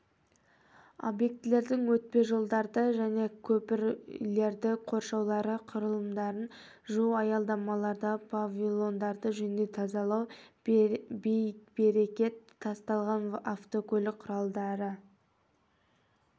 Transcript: объектілердің өтпежолдарды және көпірлердің қоршаулары құрылымдарды жуу аялдамалардағы павильондарды жөндеу тазалау бей-берекет тасталған автокөлік құралдарды